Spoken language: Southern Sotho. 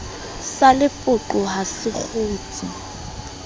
sa lepoqo ha se kgutse